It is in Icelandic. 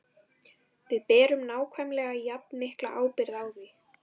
Við berum nákvæmlega jafn mikla ábyrgð á því.